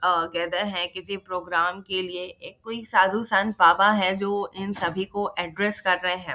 अ कहते है कि किसी प्रोग्राम के लिए एक कोई साधु संत बाबा है जो इन सभी को एड्रेस कर रहे है।